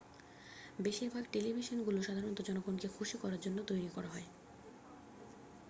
বেশিরভাগ টেলিভিশনগুলো সাধারণ জনগণকে খুশি করার জন্য তৈরি করা হয়